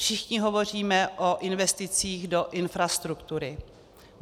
Všichni hovoříme o investicích do infrastruktury.